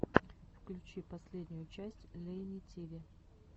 включи последнюю часть лейни тиви